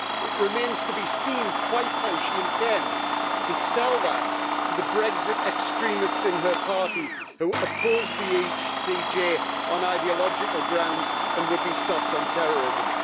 It remains to be seen quite how she intends to sell that to the Brexit extremists in her party, who oppose the ECJ on ideological grounds and would be soft on terrorism.